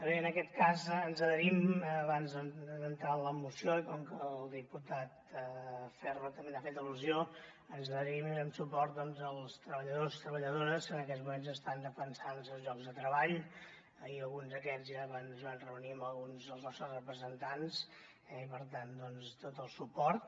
bé en aquest cas ens adherim abans d’entrar en la moció i com que el diputat ferro també hi ha fet al·lusió ens adherim i donem suport doncs als treballadors treballadores que en aquests moments estan defensant els seus llocs de treball i alguns d’aquests ja es van reunir amb alguns dels nostres representants eh i per tant doncs tot el suport